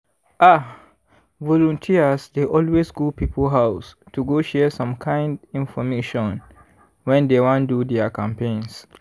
ah! volunteers dey always go people house to go share some kind infomation when dey wan do their campaigns.